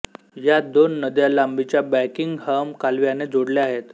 या दोन नद्या लांबीच्या बकिंगहॅम कालव्याने जोडल्या आहेत